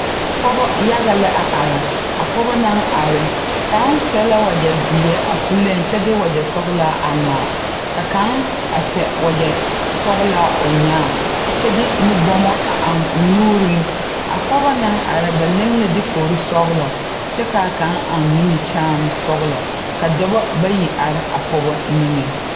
Pɔgeba yaga la are a pɔgeba naŋ are kaŋa sɛ wagyɛ zeɛ a puliŋ kyɛ de wagyɛ sɔglaa a ŋmaa ka kaŋ seɛ wagyɛ sɔglaa o nyaa kyɛ de nubɔma a eŋ o nuuriŋ a pɔge naŋ are ba leŋ la dikori sɔglaa kyɛ ka a kaŋa eŋ nimikyaane sɔgla ka dɔba bayi are a pɔge niŋeŋ.